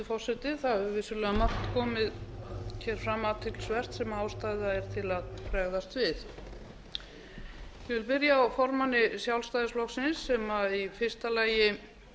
hefur vissulega margt athyglisvert komið fram sem ástæða er til að bregðast við ég vil byrja á formanni sjálfstæðisflokksins sem í fyrsta lagi